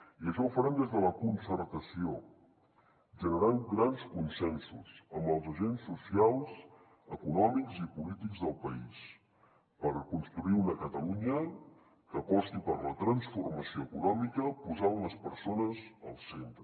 i això ho farem des de la concertació generant grans consensos amb els agents socials econòmics i polítics del país per construir una catalunya que aposti per la transformació econòmica posant les persones al centre